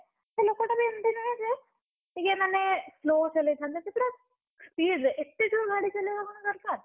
ସେ ଲୋକଟା ବି ଏମତି ନୁହଁ ଯେ, ଟିକିଏ ମାନେ slow ଚଳେଇଥାନ୍ତା ସିଏ ପୁରା, speed ରେ ଏତେ ଜୋରେ ଗାଡି ଚଲେଇବା କଣ ଦରକାର?